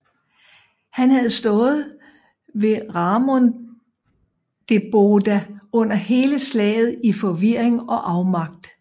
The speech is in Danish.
Han havde stået ved Ramundeboda under hele slaget i forvirring og afmagt